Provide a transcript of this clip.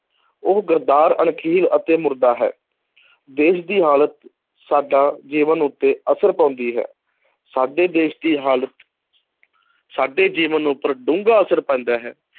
ਉਹ ਗੱਦਾਰ, ਅਣਖਹੀਣ ਅਤੇ ਮੁਰਦਾ ਹੈ ਦੇਸ਼ ਦੀ ਹਾਲਤ ਸਾਡਾ ਜੀਵਨ ਉੱਤੇ ਅਸਰ ਪਾਉਂਦੀ ਹੈ ਸਾਡੇ ਦੇਸ਼ ਦੀ ਹਾਲਤ ਸਾਡੇ ਜੀਵਨ ਉੱਪਰ ਡੂੰਘਾ ਅਸਰ ਪੈਂਦਾ ਹੈ,